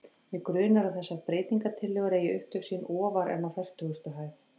Mig grunar, að þessar breytingartillögur eigi upptök sín ofar en á fertugustu hæð.